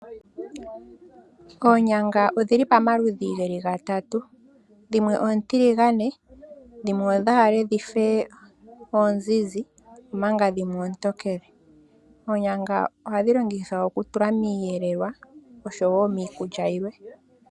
Oonyanga odhili pamaludhi geli gatatu dhimwe ontiligane ,dhimwe odhafa onzizi ,omanga dhimwe otokele. Oonyanga ohadhi longithwa ohadhi longithwa okutula miyelelwa osho woo miikulya yilwe.